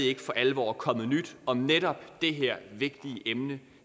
ikke for alvor kommet nyt om netop det her vigtige emne